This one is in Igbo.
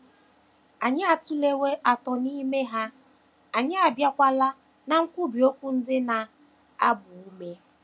Anyị atụlewo atọ n’ime ha, anyị abịawokwa ná nkwubi okwu ndị na - agba ume.